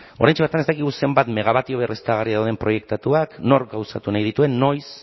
oraintxe bertan ez dakigu zenbat megawattio berriztagarri dauden proiektatuak nor gauzatu nahi dituen noiz